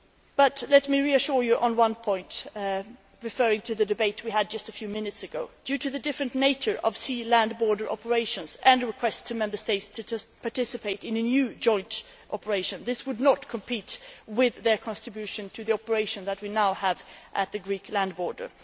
But let me reassure you on one point, referring to the debate we had just a few minutes ago due to the different nature of sea land border operations and a request to Member States to participate in a new joint operation, this will not compete with their contribution to the operation that we now have at the Greek land border.